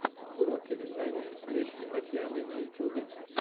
уроки вязания литке татьяны на ютубе